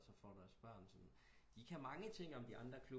Så får du altså børn som de kan man ting om de andre